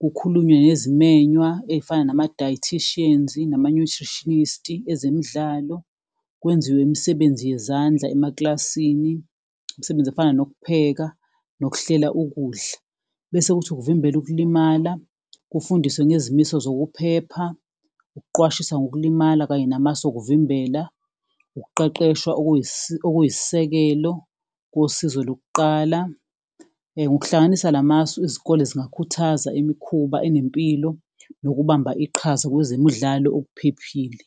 kukhulunywe nezimennywa ezifana nama-dieticians nama-nutritionist, ezemidlalo, kwenziwe imisebenzi yezandla emakilasini, imsebenzi efana nokupheka nokuhlela ukudla. Nese kuthi ukuvimbela ukulimala, kufundiswe ngezimiso zokuphepha, ukuqwashisa ngokulimala kanye namasu okuvimbela, ukuqeqeshwa okuyisisekelo kosizo lokuqala. Ngokuhlanganisa la masu, izikole zingakhuthaza imikhuba enempilo nokubamba iqhaza kwezemidlalo okuphephile.